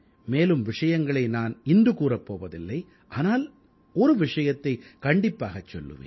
மேலும் விஷயங்களை நான் இன்று கூறப் போவதில்லை ஆனால் ஒரு விஷயத்தைக் கண்டிப்பாகச் சொல்லுவேன்